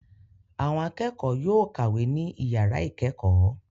Àwọn akẹ́kọ̀ọ́ yóò kàwé ní ìyàrá ìkẹ́kọ̀ọ́.